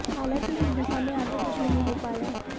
हालांकि इस दिशा में आगे कुछ नहीं हो पाया